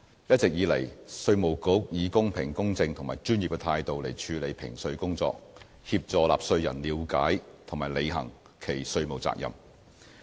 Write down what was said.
一直以來，稅務局以公平、公正和專業的態度處理評稅工作，協助納稅人了解及履行其稅務責任。